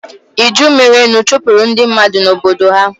iju merenụ chụpụrụ ndị mmadụ na Obodo ha.